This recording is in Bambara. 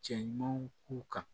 Cɛ ɲumanw k'u kan